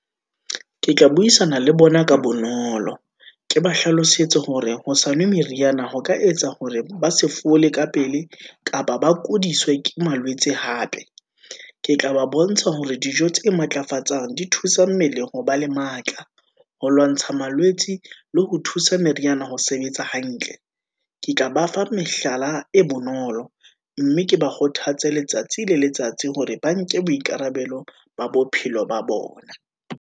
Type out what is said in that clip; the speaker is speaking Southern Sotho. Ke tla buisana le bona ka bonolo, ke ba hlalosetse hore ho sa nwe meriana, ho ka etsa hore ba se fole ka pele, kapa ba ke hodiswe ke malwetse hape, ke tla ba bontsha hore dijo tse matlafatsang di thusa mmeleng ho ba le matla, ho lwantsha malwetse le ho thusa meriana ho sebetsa hantle. Ke tla ba fa mehlala e bonolo, mme ke ba kgothatse letsatsi le letsatsi, hore ba nke boikarabelo ba bophelo ba bona.